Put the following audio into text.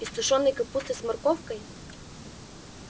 из тушёной капусты с морковкой